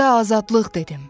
düzə azadlıq dedim.